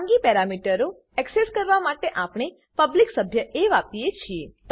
ખાનગી પેરામીટરો એક્સેસ કરવા માટે આપણે પબ્લિક સભ્ય એ વાપરીએ છીએ